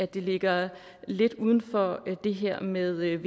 det ligger lidt uden for det her med veu